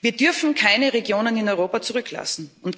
Wir dürfen keine Regionen in Europa zurücklassen.